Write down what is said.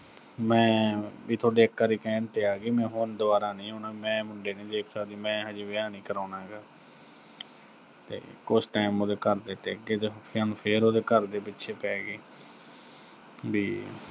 ਵੀ ਮੈਂ ਥੋਡੇ ਇੱਕ ਵਾਰੀ ਕਹਿਣ ਤੇ ਆਗੀ, ਮੈਂ ਹੁਣ ਦੁਬਾਰਾ ਨੀਂ ਆਉਣਾ, ਮੈਂ ਮੁੰਡੇ ਨੀਂ ਦੇਖ ਸਕਦੀ, ਵੀ ਮੈਂ ਹਜੇ ਵਿਆਹ ਨੀਂ ਕਰਾਉਣਾ ਹੈਗਾ, ਤੇ ਕੁਸ਼ time ਉਹਦੇ ਘਰ ਦੇ ਟਿਕ ਗੇ, ਤੇ ਹੁਣ ਫੇਰ ਉਹਦੇ ਘਰ ਦੇ ਪਿੱਛੇ ਪੈ ਗੇ, ਵੀ